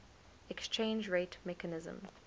exchange rate mechanism